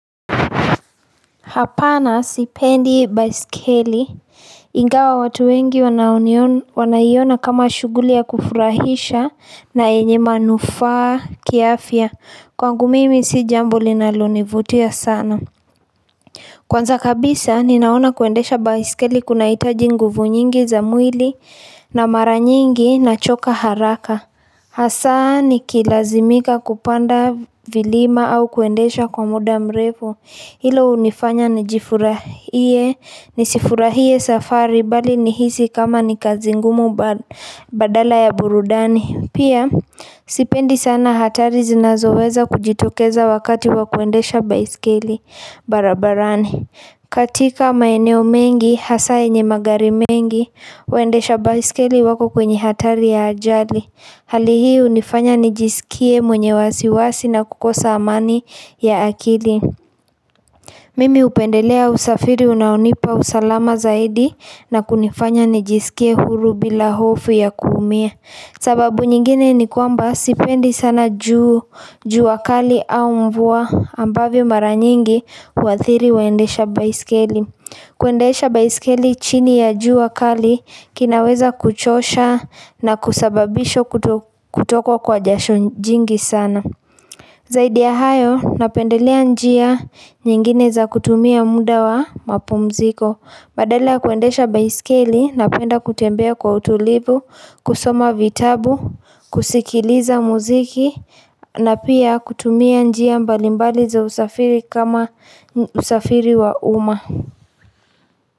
Hapana sipendi baisikeli ingawa watu wengi wanaiona kama shughuli ya kufurahisha na yenye manufaa kiafya kwangu mimi si jambo linalonivutia sana. Kwanza kabisa ninaona kuendesha baisikeli kunahitaji nguvu nyingi za mwili na mara nyingi nachoka haraka. Hasa nikilazimika kupanda vilima au kuendesha kwa muda mrefu Hilo hunifanya nisifurahie safari bali nihisi kama ni kazi ngumu badala ya burudani Pia sipendi sana hatari zinazoweza kujitokeza wakati wa kuendesha baiskeli barabarani katika maeneo mengi hasa yenye magari mengi Waendesha baiskeli wako kwenye hatari ya ajali Hali hii hunifanya nijisikie mwenye wasiwasi na kukosa amani ya akili Mimi hupendelea usafiri unaonipa usalama zaidi na kunifanya nijisikie huru bila hofu ya kuumia sababu nyingine ni kwamba sipendi sana juu jua kali au mvua ambavyo mara nyingi huathiri waendesha baiskeli kuendesha baisikeli chini ya jua kali kunaweza kuchosha na kusababisha kutokwa kwa jasho jingi sana. Zaidi ya hayo napendelea njia nyingine za kutumia muda wa mapumziko. Badala ya kuendesha baisikeli napenda kutembea kwa utulivu, kusoma vitabu, kusikiliza mziki na pia kutumia njia mbali mbali za usafiri kama usafiri wa uma.